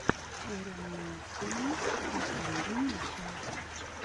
эрэнэсэнэс последняя часть